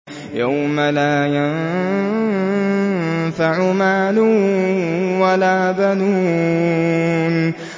يَوْمَ لَا يَنفَعُ مَالٌ وَلَا بَنُونَ